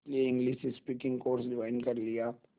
इसलिए English speaking course join कर लिया